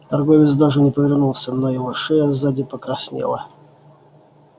торговец даже не повернулся но его шея сзади покраснела